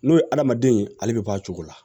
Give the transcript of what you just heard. N'o ye hadamaden ale bɛ bɔ a cogo la